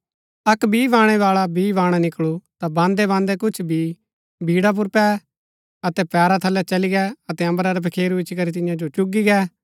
अक्क बी बाणैबाळा बी बाणा निकळू ता बान्दैबान्दै कुछ बी बीड़ा पुर पै अतै पैरा थलै चली गै अतै अम्बरा रै पखेरू इच्ची करी तियां जो चुगी गै